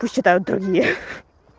пусть читают другие ха-ха